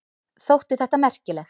Þótti þetta merkilegt.